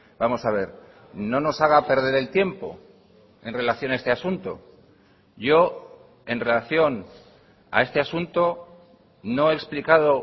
vamos a ver no nos haga perder el tiempo en relación a este asunto yo en relaciona a este asunto no he explicado